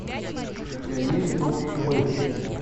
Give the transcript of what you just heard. у тебя есть дух тьмы